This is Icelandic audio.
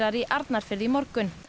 í Arnarfirði í morgun